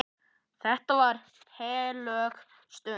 Þetta var heilög stund.